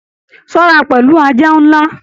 Ṣọra pẹlu ajá nlá!